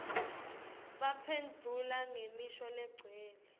baphendvula ngemisho legcwele